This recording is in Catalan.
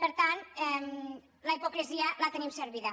per tant la hipocresia la tenim servida